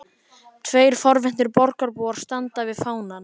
Tveir forvitnir borgarbúar standa við fánann.